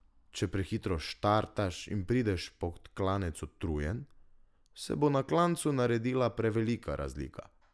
Če prehitro startaš in prideš pod klanec utrujen, se bo na klancu naredila prevelika razlika.